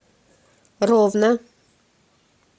ровно